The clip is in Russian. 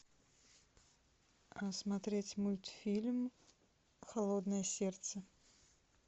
смотреть мультфильм холодное сердце